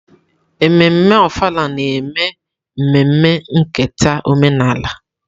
Ememme Ofala na-eme mmemme nketa omenala.